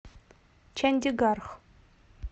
чандигарх